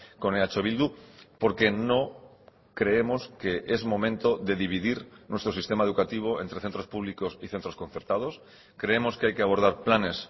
con eh bildu porque no creemos que es momento de dividir nuestro sistema educativo entre centros públicos y centros concertados creemos que hay que abordar planes